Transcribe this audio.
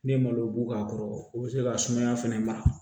Ne ye malo b'a kɔrɔ o bɛ se ka sumaya fɛnɛ mara